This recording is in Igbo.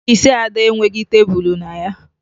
Ọfiisi Ada enweghi tebulu na ya